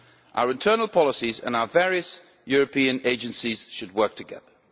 Our internal policies and our various European agencies should work together.